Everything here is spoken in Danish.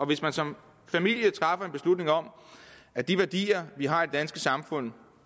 hvis man som familie træffer en beslutning om at de værdier vi har i det danske samfund